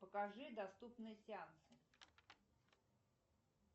покажи доступные сеансы